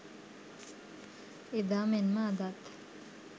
එදා මෙන්ම අදත්